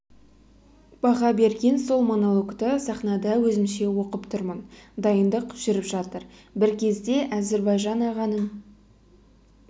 баға берген сол монологты сахнада өзімше оқып тұрмын дайындық жүріп жатыр бір кезде әзірбайжан ағаның